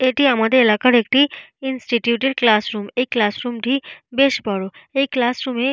এটি আমাদের এলাকার একটি ইনস্টিটিউট এর ক্লাসরুম। এই ক্লাসরুম টি বেশ বড়। এই ক্লাসরুম এ --